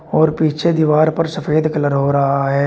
और पीछे दीवार पर सफेद कलर हो रहा है।